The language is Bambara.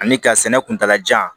Ani ka sɛnɛ kuntala jan